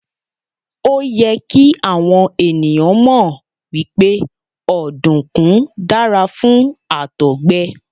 Òyẹ kí àwọn ènìyàn mọ̀ wípé ọ̀dùnkún dára fún Àtọ̀gbẹ.